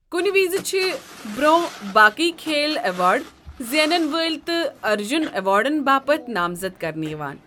كُنہِ وِزِ چھِ برونہہ باقٕے كھیل ایواڑ زینن وٲلۍ تہِ ارجُن ایوارڈن باپت نامزد كرنہٕ یوان۔